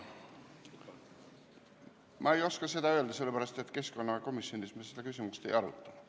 Ma ei oska seda öelda, sest keskkonnakomisjonis me seda küsimust ei arutanud.